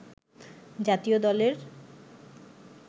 জাতীয় দলের